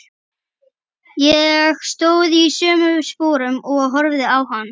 Ég stóð í sömu sporum og horfði á hann.